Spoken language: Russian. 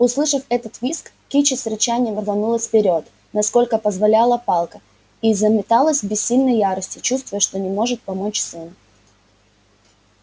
услышав этот визг кичи с рычанием рванулась вперёд насколько позволяла палка и заметалась в бессильной ярости чувствуя что не может помочь сыну